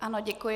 Ano, děkuji.